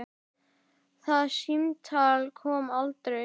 Það símtal kom aldrei.